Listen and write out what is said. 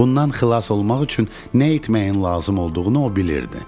Bundan xilas olmaq üçün nə etməyin lazım olduğunu o bilirdi.